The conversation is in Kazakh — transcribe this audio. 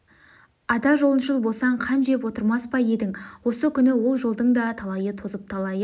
ата жолыншыл болсаң қан жеп отырмас па едің осы күні ол жолдың да талайы тозып талайы